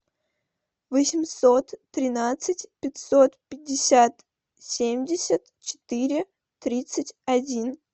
восемьсот тринадцать пятьсот пятьдесят семьдесят четыре тридцать один